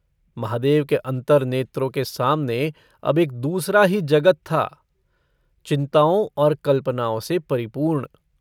महादेव के अंतर्नेत्रों के सामने अब एक दूसरा ही जगत था - चिन्ताओं और कल्पनाओं से परिपूर्ण।